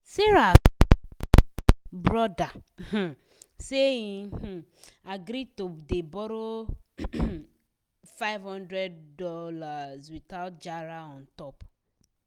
sarah small um brother um say he um agree to dey borrow ahm five hundred dollars without jara on top.